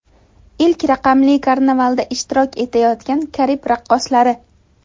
Ilk raqamli karnavalda ishtirok etayotgan Karib raqqoslari.